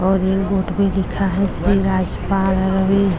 और एक बोट पे लिखा श्री राजपाल रवि।